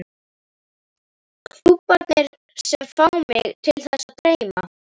Klúbbarnir sem fá mig til þess að dreyma?